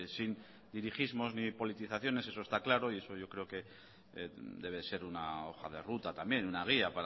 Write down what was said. sin dirigismos ni de politizaciones eso está claro y eso yo creo que debe ser una hoja de ruta también una guía